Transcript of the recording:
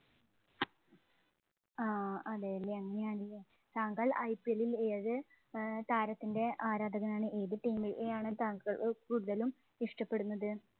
ആഹ് അതേല്ലേ, അങ്ങനെയാണെങ്കില്‍ താങ്കള്‍ IP ഇല്‍ ഏതു താരത്തിന്‍റെ ആരാധകനാണ്? ഏത് team ഇനെ ആണ് താങ്കള്‍ കൂടുതലും ഇഷ്ടപ്പെടുന്നത്.